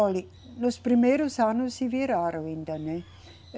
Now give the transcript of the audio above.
Olhe, nos primeiros anos se viraram ainda, né?